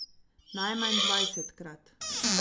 Najmanj dvajsetkrat.